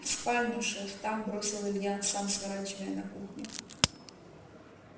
в спальню шеф там бросил илья сам сворачивая на кухню